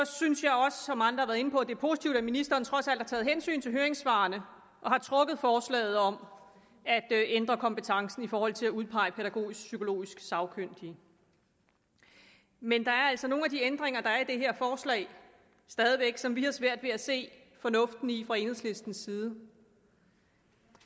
synes jeg også som andre inde på at det er positivt at ministeren trods alt har taget hensyn til høringssvarene og har trukket forslaget om at ændre kompetencen i forhold til at udpege pædagogisk psykologisk sagkyndige men der er altså nogle af de ændringer der er i det her forslag som vi har svært ved at se fornuften i fra enhedslistens side